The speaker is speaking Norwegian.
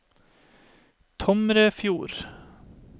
Tomrefjord